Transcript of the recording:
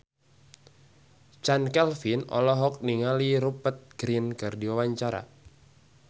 Chand Kelvin olohok ningali Rupert Grin keur diwawancara